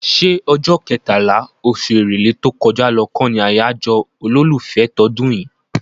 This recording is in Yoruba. ṣé ọjọ́ kẹtàlá, oṣù Èrèlé tó kọjá lọ kọ́ ni àyájọ́ olólùfẹ́ tọdún yìí?